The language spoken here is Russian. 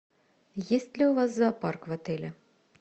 есть ли у вас зоопарк в отеле